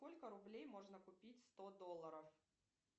сколько рублей можно купить сто долларов